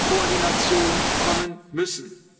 Koordination kommen müssen.